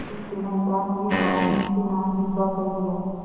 कुछ दिनों उपरांत यह गॉँव उन्हीं के नाम हिब्बा कर दिया